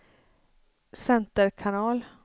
center kanal